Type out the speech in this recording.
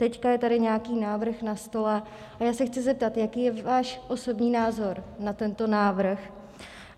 Teď je tady nějaký návrh na stole a já se chci zeptat, jaký je váš osobní názor na tento návrh.